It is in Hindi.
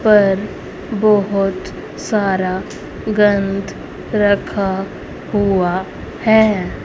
पर बहोत सारा गंध रखा हुआ है।